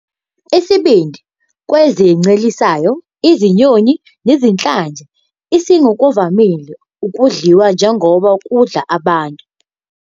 Isibindi kwezincelisayo, izinyoni, nezinhlanzi is ngokuvamile kudliwa njengoba ukudla ngabantu.